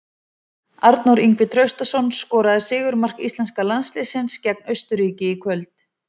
Arnór Ingvi Traustason skoraði sigurmark íslenska landsliðsins gegn Austurríki í kvöld.